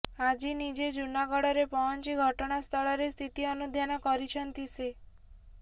ଆଜି ନିଜେ ଜୁନାଗଡ଼ରେ ପହଞ୍ଚି ଘଟଣାସ୍ଥଳରେ ସ୍ଥିତି ଅନୁଧ୍ୟାନ କରିଛନ୍ତି ସେ